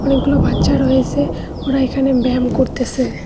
অনেকগুলো বাচ্চা রয়েছে ওরা এখানে ব্যয়াম করতেসে।